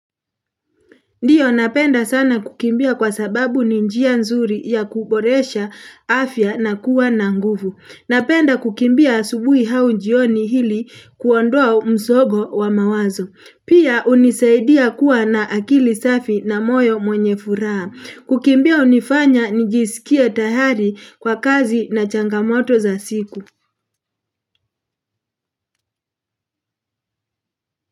Ndiyo napenda sana kukimbia kwa sababu ni njia nzuri ya kuboresha afya na kuwa na nguvu. Napenda kukimbia asubui au njioni ili kuondoa msogo wa mawazo. Pia hunisaidia kuwa na akili safi na moyo mwenye furaha. Kukimbia hunifanya nijisikie tayari kwa kazi na changamoto za siku.